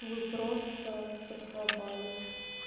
вы просто поцеловались